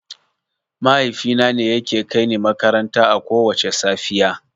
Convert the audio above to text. Mahaifina ne yake kaini makaranta akowacce safiya.